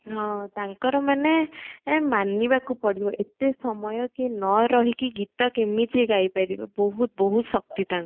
ହଁ ତାଙ୍କର ମନେ ମାନିବାକୁ ପଡିବ ଏତେ ସମୟ କିଏ ନ ରହିକି ଗୀତ କେମିତି ଗାଈ ପାରିବ ବହୁତ ବହୁତ ଶକ୍ତି ତାଙ୍କର